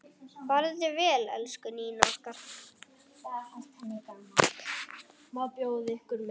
Farðu vel, elsku Nína okkar.